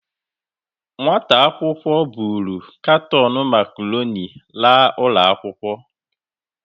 Nwata akwụkwọ buru katon macaroni laa ụlọ akwụkwọ.